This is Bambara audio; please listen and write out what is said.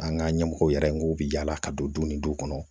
An ka ɲɛmɔgɔw yɛrɛ ko bi yaala ka don ni duw kɔnɔ